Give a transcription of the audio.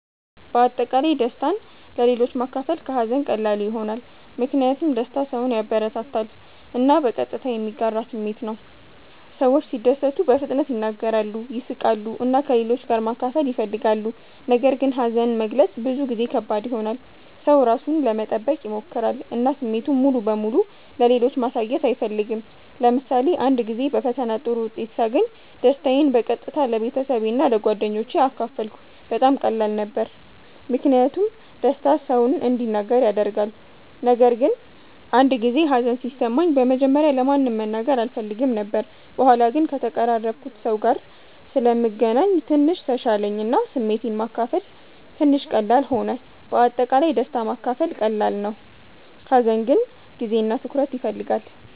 በአጠቃላይ ደስታን ለሌሎች ማካፈል ከሀዘን ቀላሉ ይሆናል። ምክንያቱም ደስታ ሰውን ያበረታታል እና በቀጥታ የሚጋራ ስሜት ነው። ሰዎች ሲደሰቱ በፍጥነት ይናገራሉ፣ ይስቃሉ እና ከሌሎች ጋር ማካፈል ይፈልጋሉ። ነገር ግን ሀዘን መግለጽ ብዙ ጊዜ ከባድ ይሆናል። ሰው ራሱን ለመጠበቅ ይሞክራል እና ስሜቱን ሙሉ በሙሉ ለሌሎች ማሳየት አይፈልግም። ለምሳሌ አንድ ጊዜ በፈተና ጥሩ ውጤት ሳገኝ ደስታዬን በቀጥታ ለቤተሰቤ እና ለጓደኞቼ አካፈልኩ። በጣም ቀላል ነበር ምክንያቱም ደስታ ሰውን እንዲናገር ያደርጋል። ነገር ግን አንድ ጊዜ ሀዘን ሲሰማኝ በመጀመሪያ ለማንም መናገር አልፈልግም ነበር። በኋላ ግን ከተቀራረብኩት ሰው ጋር ስለምገናኝ ትንሽ ተሻለኝ እና ስሜቴን ማካፈል ትንሽ ቀላል ሆነ። በአጠቃላይ ደስታ ማካፈል ቀላል ነው፣ ሀዘን ግን ጊዜ እና ትኩረት ይፈልጋል።